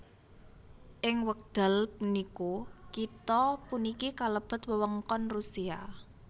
Ing wekdal puniku kitha puniki kalebet wewengkon Rusia